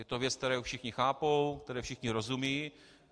Je to věc, kterou všichni chápou, které všichni rozumějí.